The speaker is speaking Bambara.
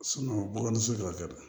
bɔgɔ ni so jɔ ka kɛ